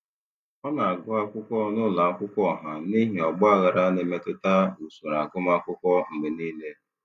Ọ na-agụ akwụkwọ n'ụlọ akwụkwọ ọha n'ihi ọgbaghara na-emetụta usoro agụmakwụkwọ mgbe niile.